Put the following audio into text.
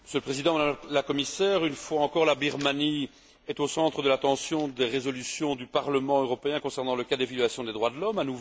Monsieur le Président, Madame la Commissaire, une fois encore la Birmanie est au centre de l'attention des résolutions du Parlement européen concernant les cas de violation des droits de l'homme.